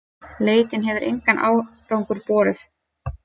Leitin hefur engan árangur borið.